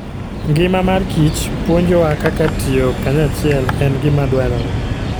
Ngima mar kich puonjowa kaka tiyo kanyachiel en gima dwarore.